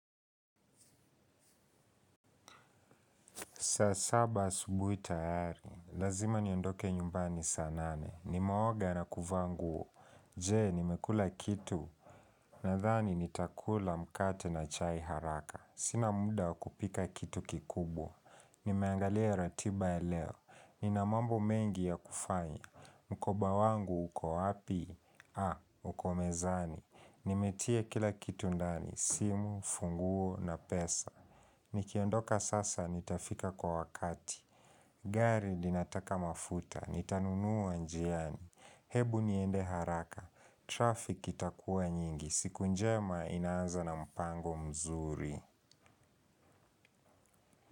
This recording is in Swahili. Saa saba asubui tayari, lazima niondoke nyumbani saa nane. Nimeoga na kuvaa nguo. Je, nimekula kitu. Nadhani nitakula mkate na chai haraka. Sina muda wa kupika kitu kikubwa. Nimeangalia ratiba ya leo. Nina mambo mengi yakufanya. Mkoba wangu, uko wapi? Ha, uko mezani. Nimetia kila kitu ndani, simu, funguo na pesa. Nikiondoka sasa nitafika kwa wakati. Gari linataka mafuta. Nitanunua njiani. Hebu niende haraka. Traffic itakua nyingi. Siku njema inaanza na mpango mzuri.